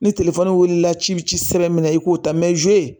Ni wilila ci be ci min na i k'o ta zuwe